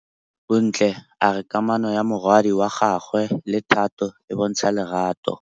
Bontle a re kamanô ya morwadi wa gagwe le Thato e bontsha lerato.